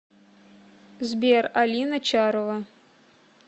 сбер алина чарова